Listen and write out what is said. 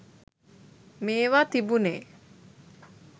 මේවා තිබුනෙ